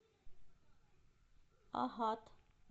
агат